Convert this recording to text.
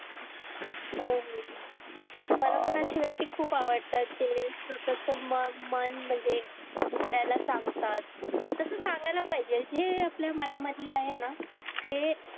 हो हो मला पण अशी व्यक्ती खुप आवडतात जे स्वतःच मन म्हणजे दुसऱ्याला सांगतात तस सांगायला पाहिजे जे आपल्या मनामध्ये आहे ना ते